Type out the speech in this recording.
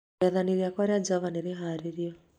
Rĩathani rĩakwa rĩa Java nĩ rĩhaarĩirio